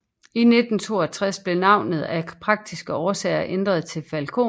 I 1962 blev navnet af praktiske årsager ændret til Falcon